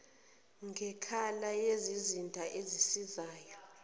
ngekhala yizizinda ezisizayo